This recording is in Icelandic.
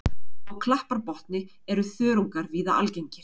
Á klapparbotni eru þörungar víða algengir.